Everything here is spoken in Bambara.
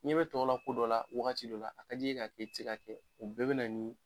I ɲɛ bɛ tɔw la ko dɔ la wagati dɔ la a ka d'i ye k'a kɛ i tɛ se ka kɛ o bɛɛ bɛ na ni